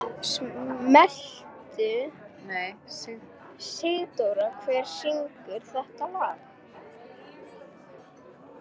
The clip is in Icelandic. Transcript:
Sigdóra, hver syngur þetta lag?